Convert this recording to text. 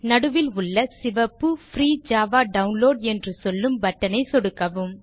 நடுவிலுள்ள சிவப்பு free Java download என்று சொல்லும் பட்டன் ஐ சொடுக்கவும்